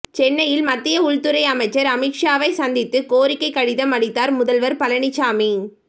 சென்னையில் மத்திய உள்துறை அமைச்சர் அமித்ஷாவை சந்தித்து கோரிக்கை கடிதம் அளித்தார் முதல்வர் பழனிச்சாமி